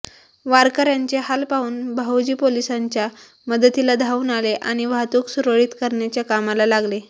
वारकऱ्यांचे हाल पाहून भाऊजी पोलिसांच्या मदतीला धावून आले आणि वाहतूक सुरळीत करण्याच्या कामाला लागले